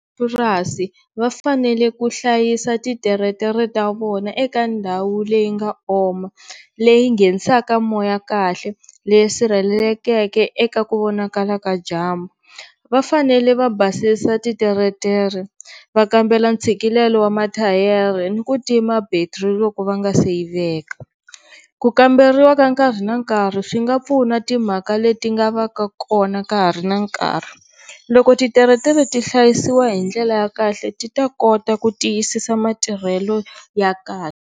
Purasi va fanele ku hlayisa ti tiretere ta vona eka ndhawu leyi nga oma, leyi nghenisaka moya kahle, leyi sirhelelekeke eka ku vonakala ka dyambu. Va fanele va basisa ti tiritere, va kambela ntshikelelo wa mathayere ni ku tima battery va nga si yi veka. Ku kamberiwa ka nkarhi na nkarhi swi nga pfuna timhaka leti nga va ka kona ka ha ri na nkarhi. Loko titeretere ti hlayisiwa hi ndlela ya kahle ti ta kota ku tiyisisa matirhelo ya kahle.